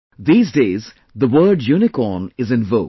These days the word 'Unicorn' is in vogue